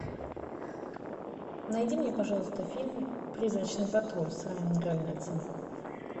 найди мне пожалуйста фильм призрачный патруль с райаном рейнольдсом